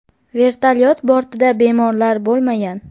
Vertolyot bortida bemorlar bo‘lmagan.